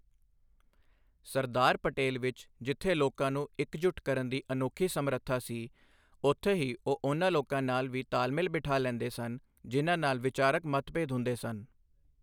ਸਰਦਾਰ ਪਟੇਲ ਵਿੱਚ ਜਿੱਥੇ ਲੋਕਾਂ ਨੂੰ ਇਕਜੁੱਟ ਕਰਨ ਦੀ ਅਨੋਖੀ ਸਮਰੱਥਾ ਸੀ, ਉੱਥੇ ਹੀ ਉਹ ਉਨ੍ਹਾਂ ਲੋਕਾਂ ਨਾਲ ਵੀ ਤਾਲਮੇਲ ਬਿਠਾ ਲੈਂਦੇ ਸਨ, ਜਿਨ੍ਹਾਂ ਨਾਲ ਵਿਚਾਰਕ ਮਤਭੇਦ ਹੁੰਦੇ ਸਨ।